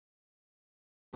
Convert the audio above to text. Svo skildi leiðir þeirra.